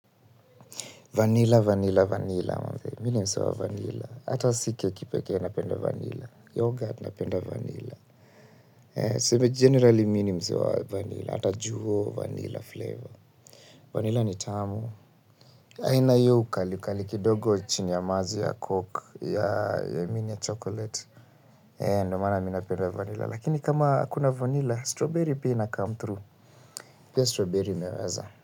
Vanila, vanila, vanila. Mimi ni msee wa vanila. Hata si keki pekee napenda vanila. Yoghurt napenda vanila. Tuseme, generally mimi ni msee wa vanila. Hata juo vanila flavor. Vanila ni tamu. Haina hiyo ukalikali, kidogo chini ya maji ya coke, ya mimi ni ya chocolate. Ndo maana mimi napenda vanila. Lakini kama hakuna vanila, strawberry pia inacome through. Pia strawberry imeweza.